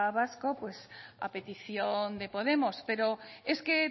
vasco a petición de podemos pero es que